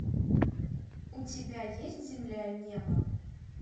у тебя есть земля и небо